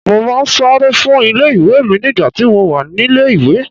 Mo máa ń sáré fún ilé ìwé mi nígbà tí mo wà nílé ìwé.